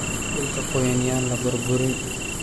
Dhulka qoyan yaan la burburin.